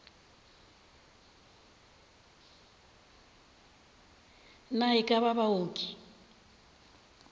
na e ka ba baoki